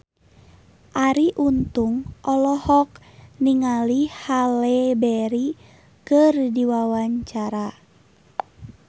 Arie Untung olohok ningali Halle Berry keur diwawancara